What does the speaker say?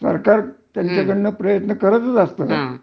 सरकार त्यांच्या कडन प्रयत्न करत असत